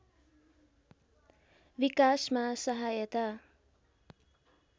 विकासमा सहायता